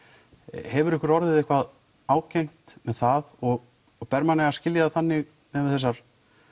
hefur ykkur orðið eitthvað ágengt þar og ber manni að skilja það þannig miðað við þessar